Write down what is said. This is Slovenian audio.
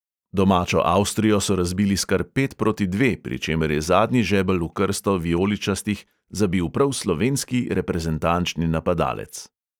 Domačo avstrijo so razbili s kar pet proti dve, pri čemer je zadnji žebelj v krsto vijoličastih zabil prav slovenski reprezentančni napadalec.